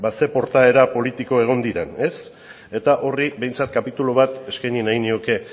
ze portaera politiko egon diren eta horri behintzat kapitulu bat eskaini nahiko nioke